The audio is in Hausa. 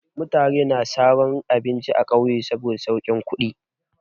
Mutane suna saro abinci a ƙauye saboda saukin kuɗi.